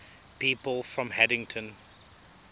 people from haddington